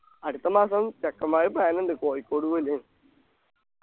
അടുത്ത മാസം ചെക്കമ്മാര് plan ഉണ്ട് കോഴിക്കോട്